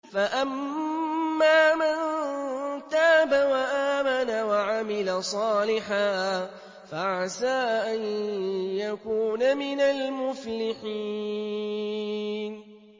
فَأَمَّا مَن تَابَ وَآمَنَ وَعَمِلَ صَالِحًا فَعَسَىٰ أَن يَكُونَ مِنَ الْمُفْلِحِينَ